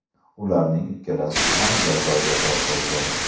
Ularning ikkalasi ham jazoga tortildi .